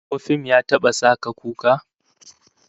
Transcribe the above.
Ko fim ya taba sa ka kuka?